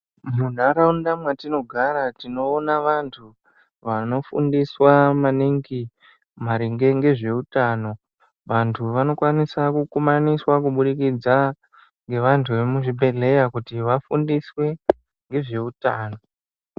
Munharaunda mwatinogara tinoona vantu vanofundiswa maningi maringe ngezveutano vantu vanokwanisa kukumaniswa kubudikidzwa ngevantu vemuzvibhedhlera kuti vafundiswe ngezveutano .